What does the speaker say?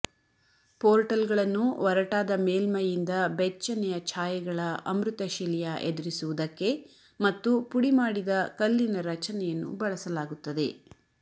ಪೋರ್ಟಲ್ಗಳನ್ನು ಒರಟಾದ ಮೇಲ್ಮೈಯಿಂದ ಬೆಚ್ಚನೆಯ ಛಾಯೆಗಳ ಅಮೃತಶಿಲೆಯ ಎದುರಿಸುವುದಕ್ಕೆ ಮತ್ತು ಪುಡಿಮಾಡಿದ ಕಲ್ಲಿನ ರಚನೆಯನ್ನು ಬಳಸಲಾಗುತ್ತದೆ